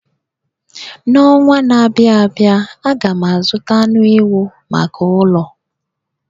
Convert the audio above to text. N'ọnwa na-abịa abịa, aga m azụta anụ ewu maka ụlọ.